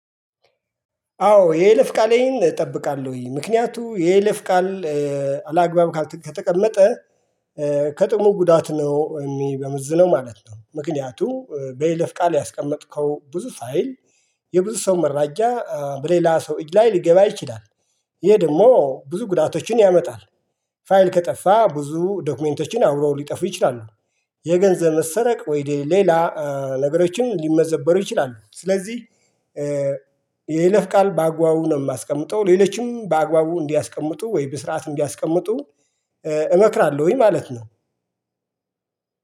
አዎ የይለፍ ቃሌን እጠብቃለሁ ምክንያቱም የይለፍ ቃል አላግባብ ከተቀመጠ ከጥቅሙ ጉዳ ነው ሚመዝነው ማለት ነው ምክንያቱ በይለፍ ቃል ያስቀመጥከው ብዙ ፋይል የብዙ ሰው መረጃ በሌላ ሰው እጅ ላይ ሊገባ ይችላል። ይሄ ደግሞ ብዙ ጉዳቶችን ያመጣል ፋይል ከጠፋ ብዙ ዶክመንቶችን አብረው ሊጠፉ ይችላሉ የገንዘብ መሰረቅ ወይድ ሌላ ነገሮችን ሊመዘበሩ ይችላሉ ስለዚህ የይለፍ ቃል በአግባቡ ነው ማስቀምጠው ሌሎችም በአግባቡ እንዲያስቀምጡ ወይም በስርዓት እንዲያስቀምጡ እመክራለሁኝ ማለት ነው